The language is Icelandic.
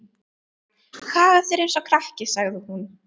Hagar þér eins og krakki, sagði hún.